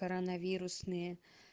коронавирусные